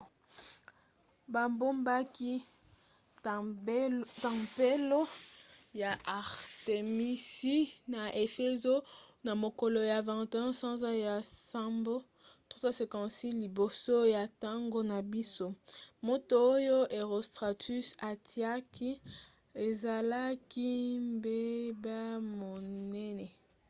babomaki tempelo ya artemisi na efezo na mokolo ya 21 sanza ya nsambo 356 liboso ya ntango na biso moto oyo herostratus atiaki ezalaki mbeba monene